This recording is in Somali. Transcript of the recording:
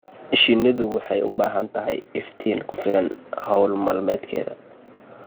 Shinnidu waxay u baahan tahay iftiin ku filan hawl maalmeedkeeda.